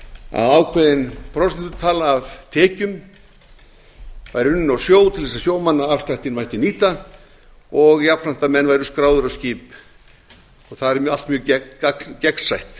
að ákveðin prósentutala af tekjum væri unnin á sjó til þess að sjómannaafsláttinn mætti nýta og jafnframt að menn væru skráðir á skip og þar er allt mjög gegnsætt